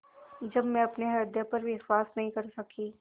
जब मैं अपने हृदय पर विश्वास नहीं कर सकी